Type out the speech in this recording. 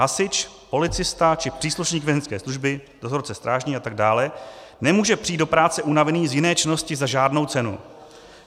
Hasič, policista či příslušník vězeňské služby, dozorce, strážný a tak dále, nemůže přijít do práce unavený z jiné činnosti za žádnou cenu.